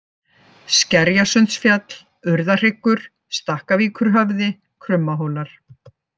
Skerjasundsfjall, Urðahryggur, Stakkavíkurhöfði, Krummahólar